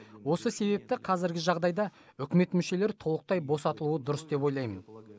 осы себепті қазіргі жағдайда үкімет мүшелері толықтай босатылуы дұрыс деп ойлаймын